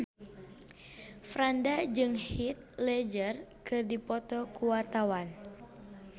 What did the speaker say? Franda jeung Heath Ledger keur dipoto ku wartawan